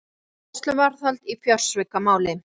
Tveir í gæsluvarðhald í fjársvikamáli